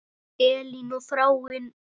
Elín og Þráinn.